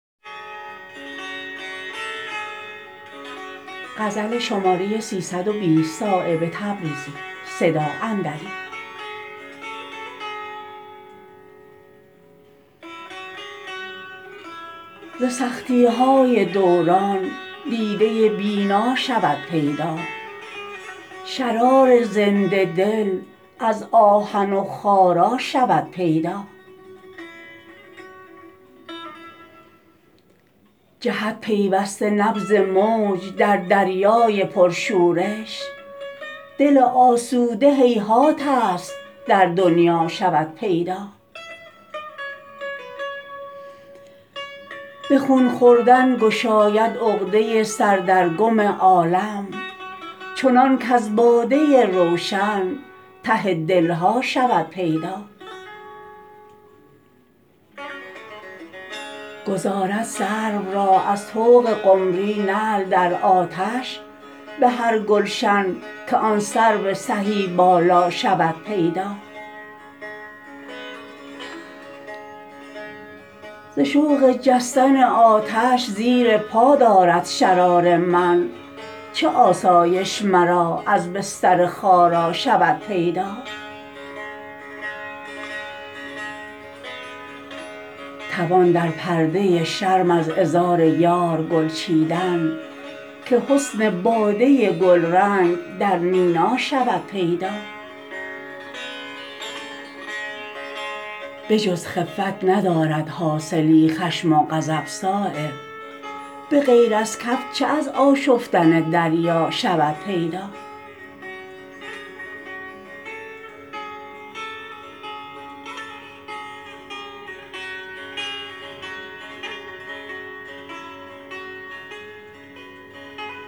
ز سختی های دوران دیده بینا شود پیدا شرار زنده دل از آهن و خارا شود پیدا جهد پیوسته نبض موج در دریای پرشورش دل آسوده هیهات است در دنیا شود پیدا به خون خوردن گشاید عقده سر در گم عالم چنان کز باده روشن ته دلها شود پیدا گذارد سرو را از طوق قمری نعل در آتش به هر گلشن که آن سرو سهی بالا شود پیدا ز شوق جستن آتش زیر پا دارد شرار من چه آسایش مرا از بستر خارا شود پیدا توان در پرده شرم از عذار یار گل چیدن که حسن باده گلرنگ در مینا شود پیدا به جز خفت ندارد حاصلی خشم و غضب صایب به غیر از کف چه از آشفتن دریا شود پیدا